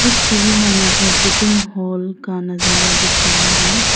इस छवि में मुझे सिटिंग हॉल का नजारा दिख रहा है।